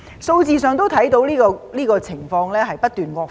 數字上可以看到這情況不斷惡化。